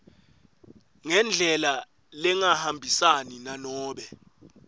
ngendlela lengahambisani nanobe